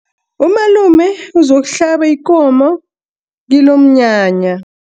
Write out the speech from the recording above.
Umalume uzokuhlaba ikomo kilomnyanya.